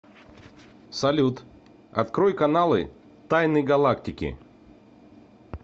салют открой каналы тайны галактики